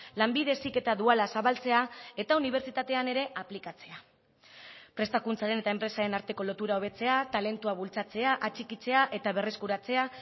lanbide heziketa duala zabaltzea eta unibertsitatean ere aplikatzea prestakuntzaren eta enpresaren arteko lotura hobetzea talentua bultzatzea atxikitzea eta berreskuratzea